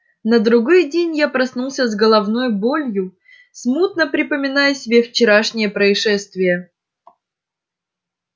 на другой день я проснулся с головною болью смутно припоминая себе вчерашнее происшествие